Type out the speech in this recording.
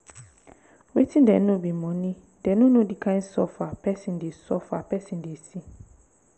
wetin dey know be money dey no know the kind suffer person dey suffer person dey see